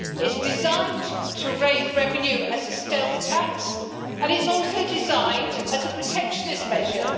It is designed to raise revenue as a stealth tax, and it is also designed as a protectionist measure.